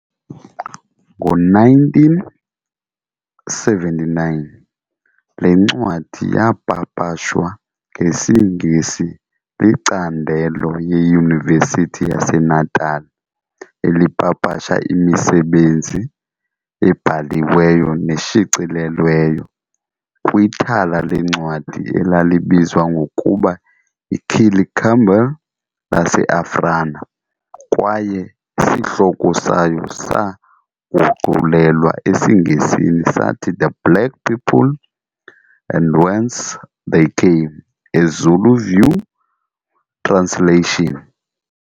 Ngo-1979, le ncwadi yaapapashwa ngesiNgesi licandelo yeYunivesithi yaseNatala elipapasha imisebenzi ebhaliweyo neshicilelweyo, kwithala leencwadi elalibizwa ngokuba yi-Killie Campbell laseAfrana kwaye isihloko sayo saaguqulelwa esiNgesini sathi "The Black People and Whence they Came- A Zulu view translation."